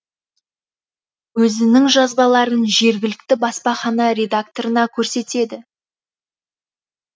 өзінің жазбаларын жергілікті баспахана редакторына көрсетеді